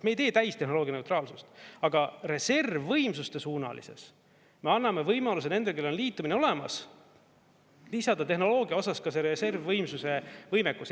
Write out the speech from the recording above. Me ei tee täistehnoloogia neutraalsust, aga reservvõimsuste suunalises me anname võimaluse nendele, kellel on liitumine olemas, lisada tehnoloogia osas ka reservvõimsuse võimekus.